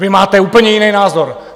Vy máte úplně jiný názor!